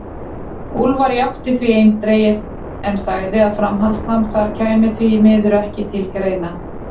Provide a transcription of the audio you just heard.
Úlfar játti því eindregið, en sagði að framhaldsnám þar kæmi því miður ekki til greina.